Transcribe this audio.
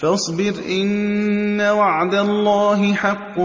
فَاصْبِرْ إِنَّ وَعْدَ اللَّهِ حَقٌّ